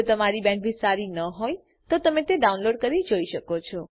જો તમારી બેન્ડવિડ્થ સારી ન હોય તો તમે ડાઉનલોડ કરી તે જોઈ શકો છો